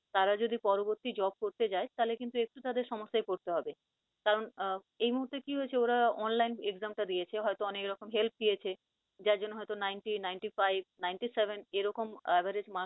তারা যদি পরবর্তী job করতে যায় তাহলে কিন্তু একটু তাদের সমস্যায় পরতে হবে। কারন আহ এই মুহূর্তে কি হয়েছে ওরা online exam টা দিয়েছে হয়তো অনেক রকম help পেয়েছে যার জন্য হয়তো ninety ninetyfive ninetyseven এরকম average mark